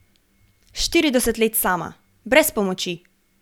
Štirideset let sama, brez pomoči!